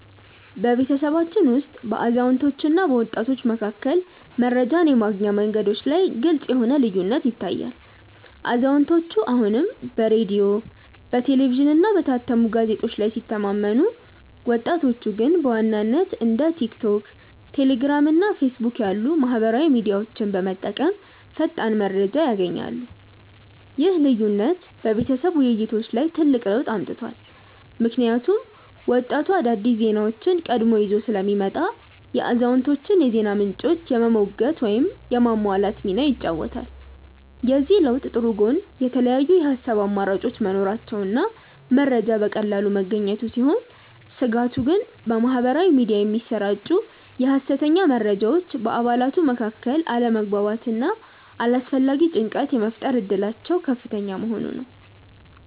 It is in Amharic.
በቤተሰባችን ውስጥ በአዛውንቶችና በወጣቶች መካከል መረጃን የማግኛ መንገዶች ላይ ግልጽ የሆነ ልዩነት ይታያል፤ አዛውንቶቹ አሁንም በሬዲዮ፣ በቴሌቪዥንና በታተሙ ጋዜጦች ላይ ሲተማመኑ፣ ወጣቶቹ ግን በዋናነት እንደ ቲክቶክ፣ ቴሌግራም እና ፌስቡክ ያሉ ማኅበራዊ ሚዲያዎችን በመጠቀም ፈጣን መረጃ ያገኛሉ። ይህ ልዩነት በቤተሰብ ውይይቶች ላይ ትልቅ ለውጥ አምጥቷል፤ ምክንያቱም ወጣቱ አዳዲስ ዜናዎችን ቀድሞ ይዞ ስለሚመጣ የአዛውንቶቹን የዜና ምንጮች የመሞገት ወይም የማሟላት ሚና ይጫወታል። የዚህ ለውጥ ጥሩ ጎን የተለያዩ የሐሳብ አማራጮች መኖራቸውና መረጃ በቀላሉ መገኘቱ ሲሆን፣ ስጋቱ ግን በማኅበራዊ ሚዲያ የሚሰራጩ የሐሰተኛ መረጃዎች በአባላቱ መካከል አለመግባባትና አላስፈላጊ ጭንቀት የመፍጠር እድላቸው ከፍተኛ መሆኑ ነው።